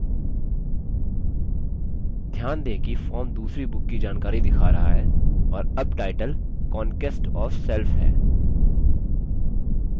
ध्यान दें कि form दूसरी book की जानकारी दिखा रहा है और अब टाइटल conquest of self है